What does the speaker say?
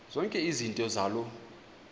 zonke izinto zaloo